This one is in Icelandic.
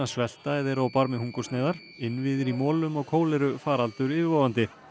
svelta eða eru á barmi hungursneyðar innviðir í molum og kólerufaraldur yfirvofandi